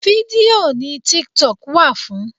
Fídíò ni tiktok wà fún.